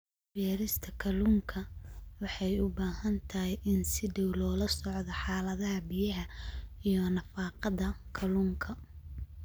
Beerista kalluunka waxay u baahan tahay in si dhow loola socdo xaaladaha biyaha iyo nafaqada kalluunka.